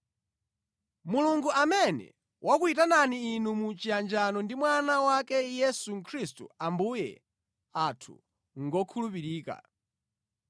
Mulungu amene wakuyitanani inu mu chiyanjano ndi Mwana wake Yesu Khristu Ambuye athu ngokhulupirika.